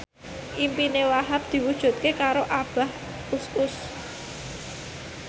impine Wahhab diwujudke karo Abah Us Us